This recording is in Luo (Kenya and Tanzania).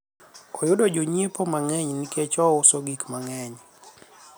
oyudo jonyiepo mang'eny nikech ouso gik mang'eny